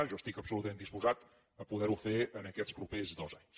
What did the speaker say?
jo estic absolutament disposat a poder ho fer en aquests propers dos anys